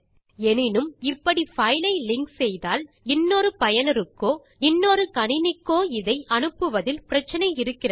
எனினும் இப்படி பைலை லிங்க் செய்தால் இன்னொரு பயனருக்கோ இன்னொரு கணினிக்கோ இதை அனுப்புவதில் பிரச்சினை இருக்கிறது